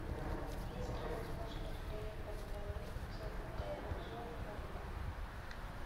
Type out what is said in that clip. есть ли возможность доехать на лифте в отеле в зоопарк